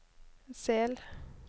Sel